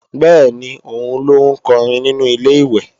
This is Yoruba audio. Bẹ́ẹ̀ni, òun ló ń kọrin nínu Ilé-ìwẹ̀